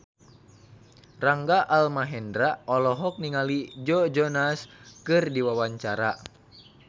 Rangga Almahendra olohok ningali Joe Jonas keur diwawancara